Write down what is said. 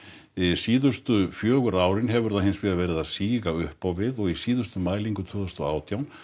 síðustu fjögur árin hefur það hins vegar verið að síga upp á við og í síðustu mælingu tvö þúsund og átján